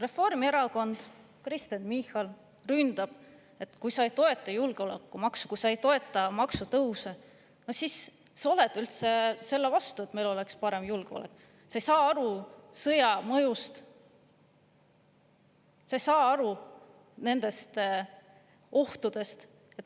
Reformierakond ja Kristen Michal ründavad, et kui sa ei toeta julgeolekumaksu, kui sa ei toeta maksutõuse, siis sa oled üldse selle vastu, et meil oleks parem julgeolek, sa ei saa aru sõja mõjust, sa ei saa aru selle ohtudest.